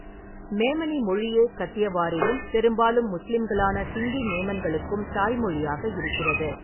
மேமனி மொழியே கத்தியவாரிலும் பெரும்பாலும் முஸ்லிம்களான சிந்தி மேமன்களுக்கும் தாய்மொழியாக இருக்கிறது.